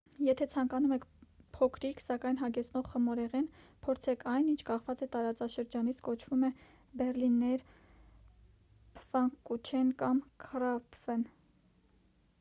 եթե ցանկանում եք փոքրիկ սակայն հագեցնող խմորեղեն փորձեք այն ինչ կախված տարածաշրջանից կոչվում է բեռլիներ փֆանկուչեն կամ քրափֆեն